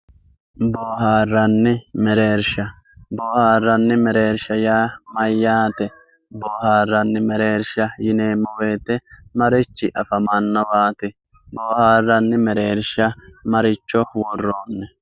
boohaarranni mereersha, boohaarranni mereersha yaa mayyaate boohaarranni mereersha yineemmo woyiite marichi afamannowaati boohaarranni mereersha maricho worroonni.